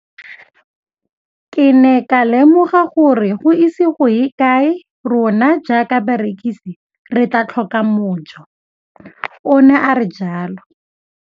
Ke ne ka lemoga gore go ise go ye kae rona jaaka barekise re tla tlhoka mojo, o ne a re jalo.